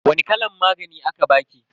Wani kalan magani aka baki?